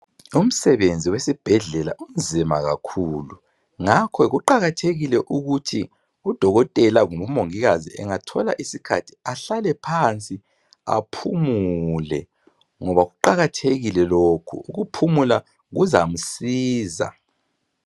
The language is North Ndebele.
Umsebenzi wesibhedlela unzima kakhulu ngakho kuqakathekile ukuthi udokotela kumbe umongikazi engathola isikhathi ahlale phansi aphumule ngoba kuqakathekile lokhu ukuphumula kuzamsiza